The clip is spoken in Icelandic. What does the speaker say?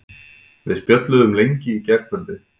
Við spjölluðum lengi í gærkvöldi.